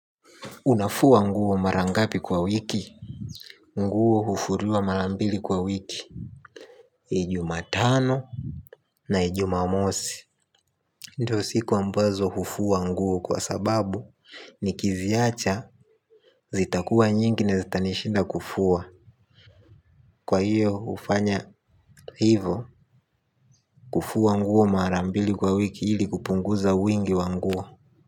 Unafua nguo mara ngapi kwa wiki? Nguo hufuriwa mara mbili kwa wiki. Jumatano na Jumamosi. Ndo siku ambazo hufua nguo kwa sababu. Nikiziacha zitakuwa nyingi na zitanishinda kufua. Kwa hiyo hufanya hivo, kufua nguo mara mbili kwa wiki ili kupunguza wingi wa nguo.